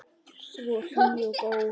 Svo hlý og góð.